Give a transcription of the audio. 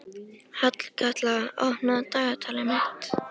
Hallkatla, opnaðu dagatalið mitt.